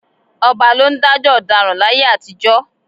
Ọba ló ń dájọ́ ọ̀daràn láyé àtijọ́